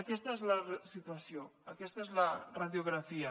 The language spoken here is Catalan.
aquesta és la situació aquesta és la radiografia